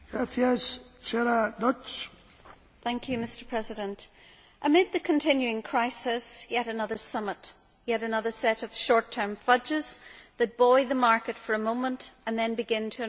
Mr President, amid the continuing crisis, yet another summit, yet another set of short term fudges that buoy the market for a moment and then begin to unravel soon after.